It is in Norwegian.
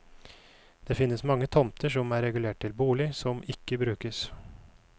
Det finnes mange tomter som er regulert til bolig, som ikke brukes.